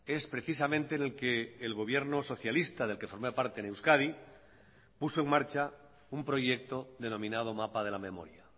es precisamente en el que el gobierno socialista del que forma parte en euskadi puso en marcha un proyecto denominado mapa de la memoria